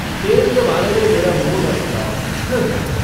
तेल के बारे में मेरा मुँह न खुलाओ, उँह।